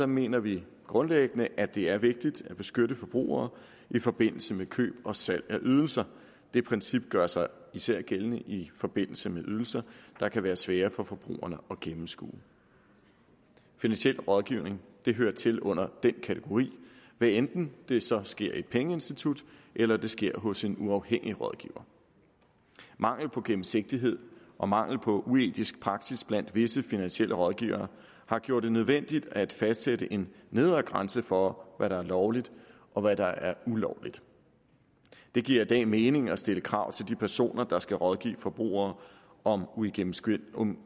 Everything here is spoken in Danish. mener vi grundlæggende at det er vigtigt at beskytte forbrugere i forbindelse med køb og salg af ydelser det princip gør sig især gældende i forbindelse med ydelser der kan være svære for forbrugerne at gennemskue finansiel rådgivning hører til under den kategori hvad enten det så sker i et pengeinstitut eller det sker hos en uafhængig rådgivning mangel på gennemsigtighed og mangel på etisk praksis blandt visse finansielle rådgivere har gjort det nødvendigt at fastsætte en nedre grænse for hvad der er lovligt og hvad der er ulovligt det giver i dag mening at stille krav til de personer der skal rådgive forbrugere om uigennemskuelige